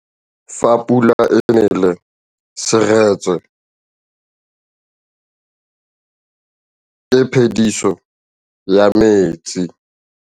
Fa pula e nelê serêtsê ke phêdisô ya metsi.